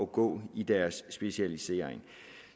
gå i deres specialisering